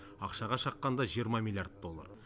ақшаға шаққанда жиырма миллиард доллар